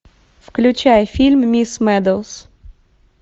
включай фильм мисс медоуз